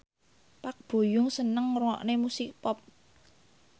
Park Bo Yung seneng ngrungokne musik pop